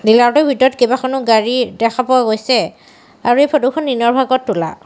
Dealer টোৰ ভিতৰত কেইবাখনো গাড়ী দেখা পোৱা গৈছে আৰু এই ফটো খন দিনৰ ভাগত তোলা।